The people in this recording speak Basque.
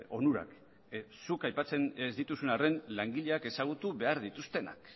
onurak zuk aipatzen ez dituzun arren langileak ezagutu behar dituztenak